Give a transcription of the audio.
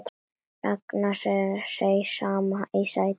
Ragnar seig saman í sætinu.